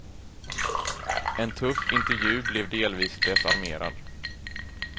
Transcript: En tuff intervju blev delvis desarmerad.